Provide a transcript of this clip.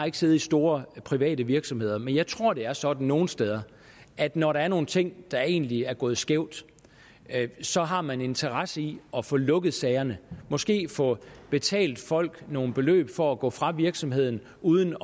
ikke siddet i store private virksomheder men jeg tror det er sådan nogle steder at når der er nogle ting der egentlig er gået skævt så har man en interesse i at få lukket sagerne måske få betalt folk nogle beløb for at gå fra virksomheden uden